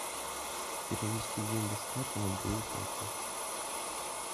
перевести деньги с карты на другую карту